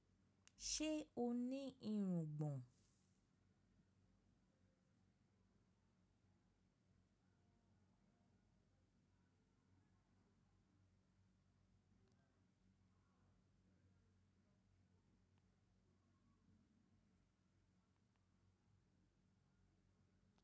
Ṣe o ni irungbon?